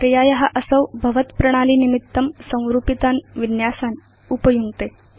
पर्याय असौ भवत् प्रणाली निमित्तं संरूपितान् विन्यासान् उपयुङ्क्ते